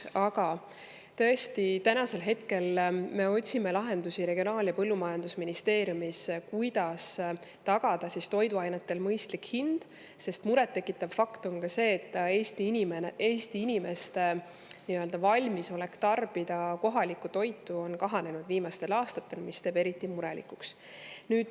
Aga täna me otsime Regionaal- ja Põllumajandusministeeriumis lahendusi, kuidas tagada toiduainetele mõistlik hind, sest eriti muret tekitav fakt on see, et Eesti inimeste valmisolek tarbida kohalikku toitu on kahanenud viimastel aastatel.